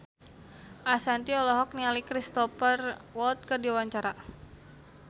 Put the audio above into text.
Ashanti olohok ningali Cristhoper Waltz keur diwawancara